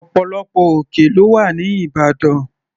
Ọ̀pọ̀lọpọ̀ òkè lọ́wà ní ìbàdàn.